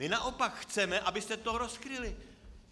My naopak chceme, abyste to rozkryli.